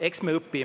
Eks me õpime.